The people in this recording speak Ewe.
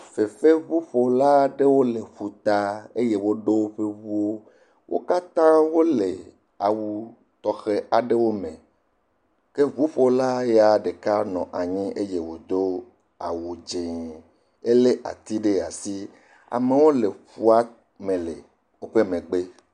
Fefeŋuƒola aɖewo le ƒuta eye woɖo woƒe ŋuwo. Wo katã wole awu tɔxe aɖewo me. Ke ŋuƒola ɖeka ɖe nɔ anyi eye wodo awu dze. Ele ati ɖe asi. Amewo le ƒua me le woƒe megbe.